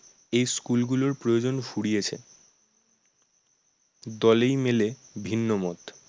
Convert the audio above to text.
এই school গুলোর প্রয়োজন ফুরিয়েছে দলেই মেলে ভিন্ন মত